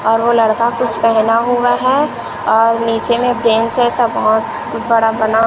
और वो लड़का कुछ पेहना हुआ है और नीचे में से ऐसा बहोत बड़ा बना--